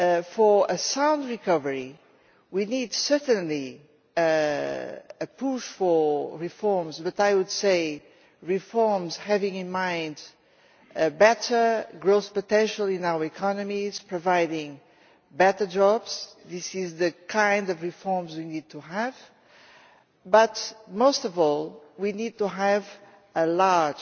For a sound recovery we need certainly a push for reforms, but I would say reforms having in mind better growth potential in our economies, providing better jobs these are the kind of reforms we need to have but most of all we need to have a large